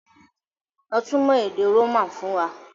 Lọ túmọ̀ èdè Roman fún wa!